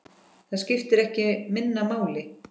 Það skiptir ekki minna máli.